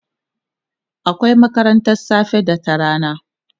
akwai makarantan safe da ta rana